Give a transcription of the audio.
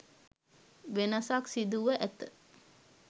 වෙනසක් සිදුව ඇත.